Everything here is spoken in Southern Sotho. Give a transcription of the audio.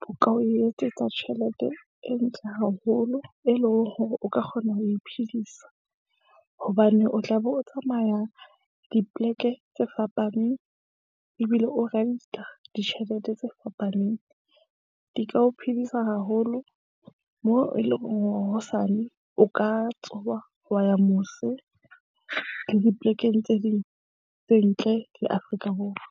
bo ka o etsetsa tjhelete e ntle haholo. E leng hore o ka kgona ho iphedisa, hobane o tla be o tsamaya dipleke tse fapaneng ebile o rent-a ditjhelete tse fapaneng. Di ka o phedisa haholo moo eleng hore hosane o ka tsoha wa ya mose le diplekeng tse ding tse ntle le Afrika Borwa.